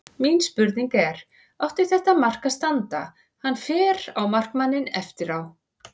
Mín spurning er: Átti þetta mark að standa, hann fer í markmanninn eftir á?